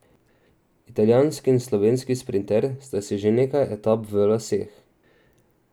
Italijanski in slovenski sprinter sta si že nekaj etap v laseh.